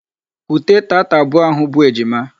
Kute taata abụọ ahụ bụ ejima!